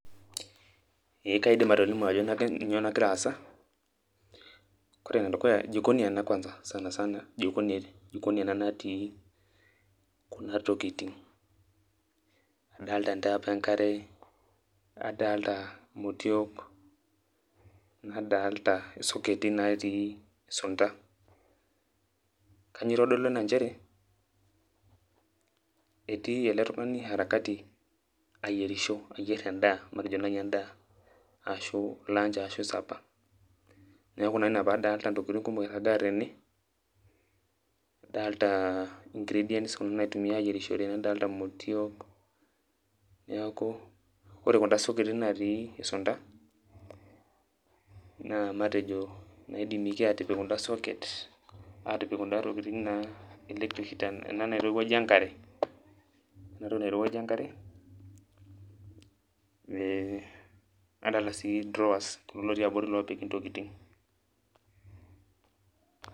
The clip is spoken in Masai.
Ee kaidim atolimu ajo nyoo nagira aasa. Kore enedukuya, jikoni ena kwansa sanasana, jikoni ena natii kuna tokiting. Adalta entap enkare, adalta motiok, nadalta isoketi natii sunda. Kanyioo itodolu ena njere, etii ele tung'ani harakati ayierisho. Ayier endaa, matejo nai endaa ashu lunch arashu supper. Neeku naa ina padalta intokiting kumok irragaa tene, adalta ingredients kuna naitumiai ayierishore, nadalta motiok, neeku ore kuna soketi natii isunda, naa matejo naidimieki atipik kuda socket, atipik kuda tokiting naa electric heater ena nairowuajie enkare, enatoki nairowuajie enkare, adalta si drawers kulo lotii abori lopiki ntokiting.